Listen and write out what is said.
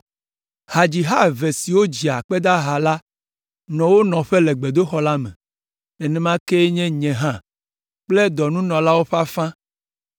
Hadziha eve siwo dzia akpedaha la nɔ wo nɔƒe le gbedoxɔ la me. Nenema kee nye nye hã kple dɔnunɔlawo ƒe afã